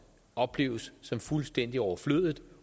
opleves som fuldstændig overflødigt